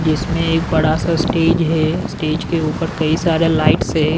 जिसमें एक बड़ा सा स्टेज है स्टेज के ऊपर कई सारे लाइट्स है।